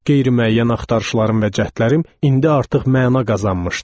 Qeyri-müəyyən axtarışlarım və cəhdlərim indi artıq məna qazanmışdı.